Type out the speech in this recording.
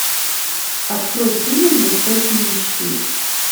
открой фильм жестокие мечты